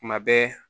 Kuma bɛɛ